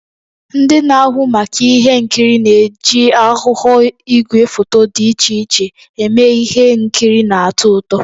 Ndị na-ahụ maka ihe nkiri na-eji aghụghọ igwefoto dị iche iche eme ihe nkiri na-atọ ụtọ.